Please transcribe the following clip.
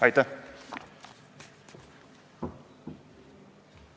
Aitäh!